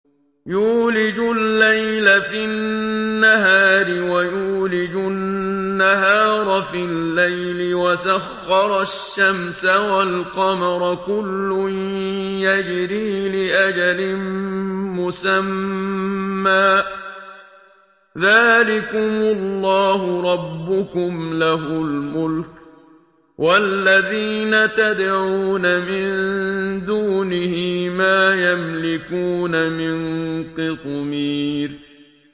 يُولِجُ اللَّيْلَ فِي النَّهَارِ وَيُولِجُ النَّهَارَ فِي اللَّيْلِ وَسَخَّرَ الشَّمْسَ وَالْقَمَرَ كُلٌّ يَجْرِي لِأَجَلٍ مُّسَمًّى ۚ ذَٰلِكُمُ اللَّهُ رَبُّكُمْ لَهُ الْمُلْكُ ۚ وَالَّذِينَ تَدْعُونَ مِن دُونِهِ مَا يَمْلِكُونَ مِن قِطْمِيرٍ